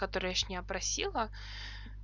которые я ещё не опросила